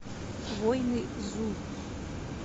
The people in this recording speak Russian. воины зу